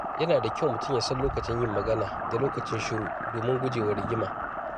Yana da kyau mutum ya san lokacin yin magana da lokacin shiru domin guje wa rigima.